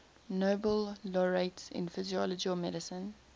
nobel laureates in physiology or medicine